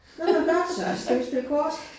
Det var da godt så, skal vi spille kort?